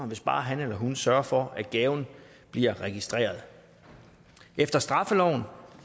hvis bare han eller hun sørger for at gaven bliver registreret efter straffeloven